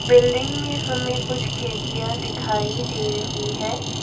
Building में हमें कुछ खिड़कियां दिखाई दे रही है।